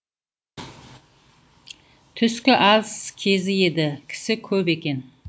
түскі ас кезі еді кісі көп екен